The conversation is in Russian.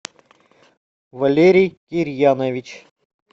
валерий кирьянович